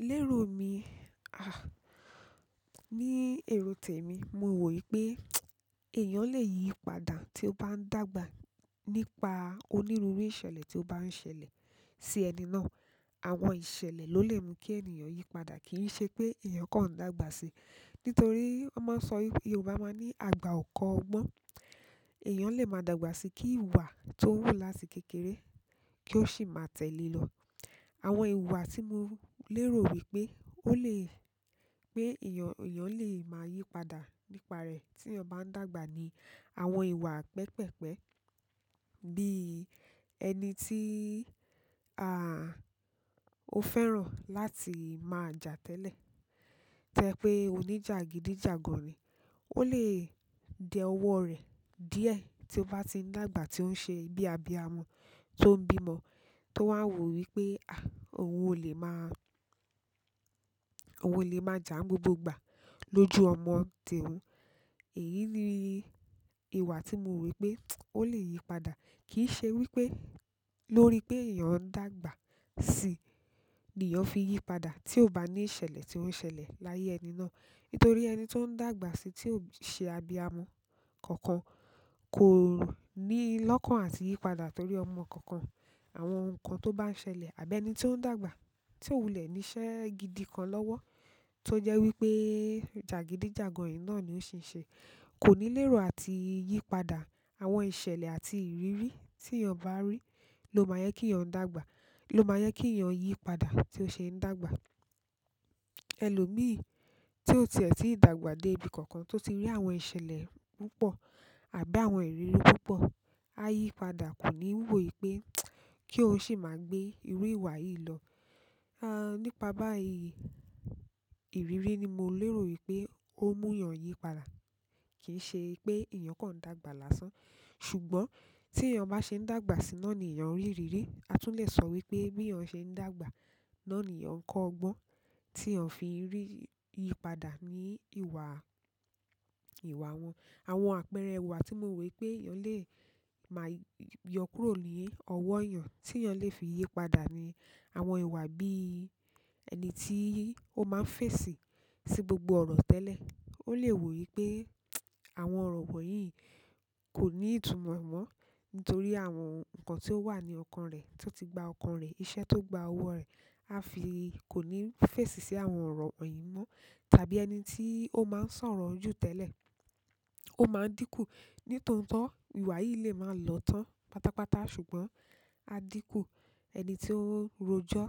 Lérò mi, ah, ní èrò tèmi, mo wò wípé, èèyàn lè yípadà tí ó bá ń dàgbà nípa onírúurú ìṣẹ̀lẹ̀ tí ó bá ń ṣẹlẹ̀ sí ẹni náà. Àwọn ìṣẹ̀lẹ̀ lo le mu ki ènìyàn yípadà kii se pe eyan kan dàgbà sii nítorí won maa so Yoruba maa ni agba o ko ogbon. Èèyàn lè máa dàgbà síi kí ìwà tó wù láti kékeré kí ó sì máa tẹ̀lé e lọ. Àwọn ìwà tí mo lérò wípé ó lè pé èèyàn, èèyàn lè máa yípadà nípa rẹ̀ tí èèyàn bá ń dàgbà ni àwọn ìwà pẹpẹ́pẹ́. Bí i ẹni tí, ah, ó fẹ́ràn láti máa jà tẹ́lẹ̀. To je pe onijagidi jagan ni ó lè dẹ ọwọ́ rẹ̀ díẹ̀ tí ó bá ti ń dàgbà tí ó ń ṣe bíi abiyamọ tó ń bímọ, tó wáa ń wò wípé, ah, òun ò lè máa, òun ò lè máa jà n gbogbo ìgbà lójú ọmọ tẹ̀ẹ́wọ́. Èyí ni ìwà tí mo ro wípé ó lè yípadà. Kì í ṣe wípé lórí pé èèyàn ń dàgbà sí i ni èèyàn fi yípadà tí ó bá ní ìṣẹ̀lẹ̀ tí ó ṣẹlẹ̀ láyé ẹni náà. Nítorí ẹni tó ń dàgbà sí i tí ò ṣe abiyamọ kankan kò níi lọ́kàn àti yípadà torí ọmọ kankan, àwọn nǹkan tó bá ń ṣẹlẹ̀, àbí ẹni tí ó ń dàgbà tí ó wù lé níṣẹ́ gidi kan lọ́wọ́ to je wípé jagidi jagan yìí náà lo sise ko ni lero àti yípadà. Àwọn ìṣẹ̀lẹ̀ àti ìrírí tí èèyàn bá rí ló máa yẹ kí èèyàn dàgbà, ló máa yẹ kí èèyàn yípadà tí ó ṣe ń dàgbà. Ẹlòmíì tí ó tiẹ̀ tíì dàgbà dé ibi kankan tó ti rí àwọn ìṣẹ̀lẹ̀ púpọ̀ àbí àwọn ìrírí púpọ̀, á yípadà kò ní wò wípé kí ó sì máa gbé irú ìwà yìí lọ. Ah, nípa báyìí ìrírí ni mo lérò wípé ó mú èèyàn yípadà, kì í ṣe pé èèyàn kọ̀ń dàgbà lásán. Ṣùgbọ́n tí èèyàn bá ṣe ń dàgbà sí náà ni èèyàn ń rí ìrírí. A tun le so wípé bi eeyan se n dàgbà náà ni eeyan ko ogbon ti eeyan fi n yípadà ni ìwà- ìwà won. Àwọn àpẹẹrẹ ìwà tí mo wo wípé èèyàn lè máa yọ kúrò ní ọwọ́ èèyàn tí èèyàn lè fi yípadà ni àwọn ìwà bí i ẹni tí ó máa ń fèsì sí gbogbo ọ̀rọ̀ tẹ́lẹ̀. Ó lè wò wípé àwọn ọ̀rọ̀ wọ̀nyí kò ní ìtumọ̀ mọ́ nítorí àwọn nǹkan tí ó wà ní ọkàn rẹ̀, tí ó ti gba ọkàn rẹ̀, iṣẹ́ tó gba ọwọ́ rẹ̀, a fi kò ní fèsì sí àwọn ọ̀rọ̀ wọ̀nyí mọ́. Tàbí ẹni tí ó máa ń sọ̀rọ̀ jù tẹ́lẹ̀, ó máa dínkù. Nítòótó ìwà yìí lè máa lọ tán pátápátá ṣùgbọ́n á dínkù. Ẹni tí ó ń ròjọ́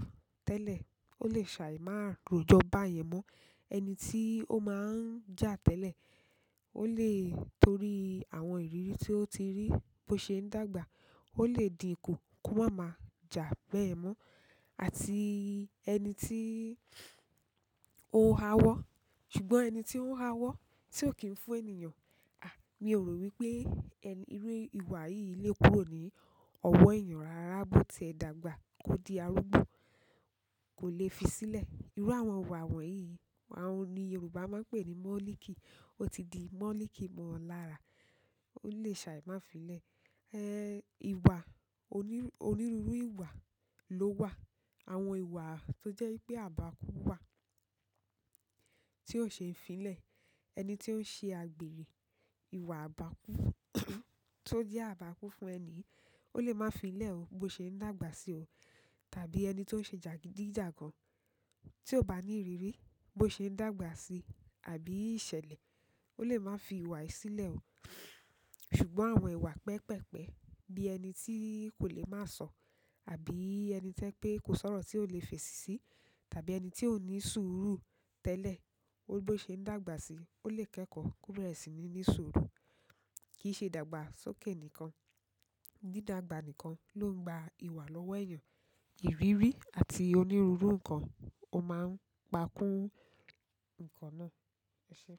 tẹ́lẹ̀, ó lè ṣàì máa ròjọ́ báyẹn mọ́. Ẹni tí ó máa ń jà tẹ́lẹ̀, ó lè torí àwọn ìrírí tí ó ti rí bó ṣe ń dàgbà, ó lè dínkù kó máa ma jà bẹ́ẹ̀ mọ́. Àti ẹni tí ó ha wọ́ ṣùgbọ́n ẹni tí ó ń ha wọ́ tí ò kí ń fún èèyàn, ah, mi ò rò wípé ẹni, irú ìwà yìí lè kúrò ní ọwọ́ èèyàn rárá bó tẹ́ dàgbà kó di arúgbó, kò lè fi sílẹ̀. Irú àwọn ìwà wọ̀nyí, àwọn ni Yorùbá máa ń pè ní "mọ́líkì". Ó ti di mọ́líkì mọ́ ọ lára, ó lè ṣàì máa fi lẹ̀. Ehn, ìwà onírúurú ìwà ló wà. Àwọn ìwà tó jẹ́ wípé àbákú wà tí ò ṣe é fi lẹ̀. Ẹni tí ó ń ṣe àgbèrè ìwà àbákú tó jẹ́ àbákú fún ẹni, ó lè máa fi í lẹ̀ o bó ṣe ń dàgbà sí i o. Tàbí ẹni tí ó ń ṣe jàgídíjàgan tí ò bá ní ìrírí bó ṣe ń dàgbà sí i àbí ìṣẹ̀lẹ̀, ó lè máa fi ìwà yìí sílẹ̀ o. Ṣùgbọ́n àwọn ìwà pẹpẹ́pẹ́ bí ẹni tí kò lè máa sọ̀, àbí ẹni tẹ́ pé kò sọ̀rọ̀ tí ó lè fèsì sí, tàbí ẹni tí ò ní sùúrù tẹ́lẹ̀, bó ṣe ń dàgbà sí i, ó lè kẹ́kọ̀ọ́ kó berẹ̀ síi ní ní sùúrù kì í ṣe dàgbà sókè nìkan. Dídàgbà nìkan ló ń gba ìwà lọ́wọ́ èèyàn. Ìrírí àti onírúurú nǹkan ó máa ń pa kún nǹkan náà. eṣé?